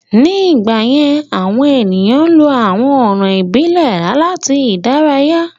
Ní ìgbà yẹ́n, àwọn èèyàn ń lọ àwọn ọ̀nà ìbílẹ̀ láti ìdárayá